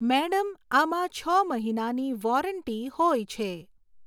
madam આમાં છ મહિનાની વૉરંટી હોય છે